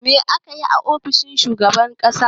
Me ake yi a ofishin shugaban ƙasa?